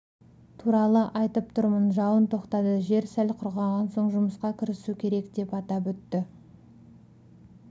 туралы айтып тұрмын жауын тоқтады жер сәл құрғаған соң жұмысқа кірісу керек деп атап өтті